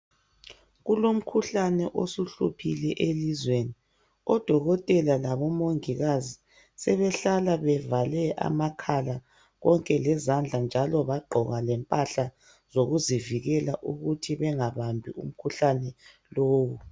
Kulomkhuhlane osuhluphile elizweni. Odokotela labomongikazi sebehlala bevale amakhala konke lezandla njalo bagqoka lempahla zokuzivikela ukuthi bengabambi umkhuhlane lowo.